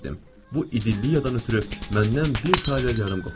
Bu idilliyaadan ötrü məndən bir taler yarım qopardılar.